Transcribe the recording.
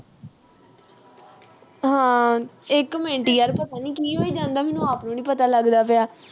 ਹਾਂ ਇੱਕ ਮਿੰਟ ਯਰ ਕੀ ਹੋਈ ਜਾਂਦਾ। ਮੈਨੂੰ ਆਪ ਨੂੰ ਨੀਂ ਪਤਾ ਲੱਗਦਾ ਪਿਆ।